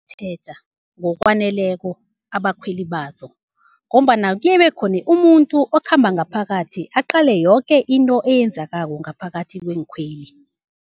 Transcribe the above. Tjheja ngokwaneleko abakhweli bazo, ngombana kuyebe khone umuntu okhamba ngaphakathi aqale yoke into eyenzakako ngaphakathi kweenkhweli.